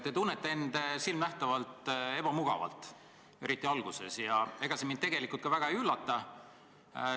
Te tunnete end silmanähtavalt ebamugavalt, eriti oli see nii alguses, ja ega see mind tegelikult ka väga ei üllata.